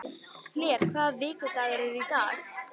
Hlér, hvaða vikudagur er í dag?